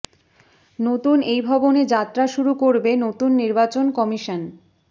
নতুন এই ভবনে যাত্রা শুরু করবে নতুন নির্বাচন কমিশন